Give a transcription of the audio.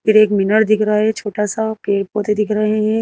फिर एक मिनर दिख रहा है छोटा सा पेड़ पौधे दिख रहे हैं।